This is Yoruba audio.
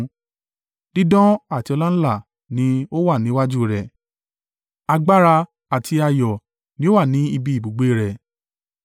Dídán àti ọláńlá ni ó wà níwájú rẹ̀; agbára àti ayọ̀ ni ó wà ní ibi ibùgbé rẹ̀.